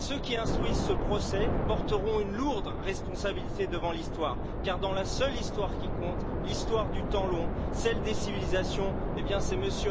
Ceux qui instruisent ce procès porteront une lourde responsabilité devant l'Histoire, car dans la seule Histoire qui compte, l'Histoire du temps long, celle des civilisations, eh bien c'est M.